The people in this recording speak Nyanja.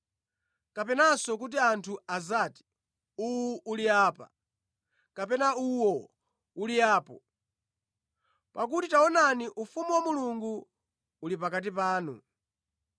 kapenanso kuti anthu adzati, ‘Uwu uli apa,’ kapena ‘Uwo uli apo,’ Pakuti taonani ufumu wa Mulungu uli pakati panu.”